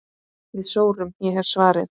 Við sórum, ég hef svarið.